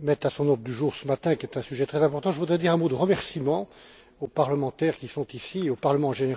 met à son ordre du jour ce matin, qui est un sujet très important, je voudrais dire un mot de remerciement aux parlementaires qui sont ici et au Parlement, en général, pour le soutien qu'il a apporté